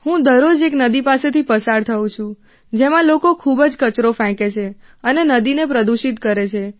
હું દરરોજ એક નદી પાસેથી પસાર થાઉં છું જેમાં લોકો ખૂબ જ કચરો ફેંકે છે અને નદીને પ્રદૂષિત કરે છે